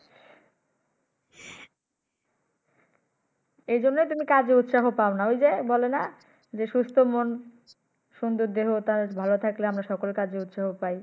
এই জন্য তুমি কাজে উৎসাহ পাও না ঐ যে বলে না সুস্থ মন সুন্দর দেহো তার ভালো থাকলে আমরা সকল কাজে উৎসাহ পাই।